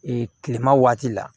kilema waati la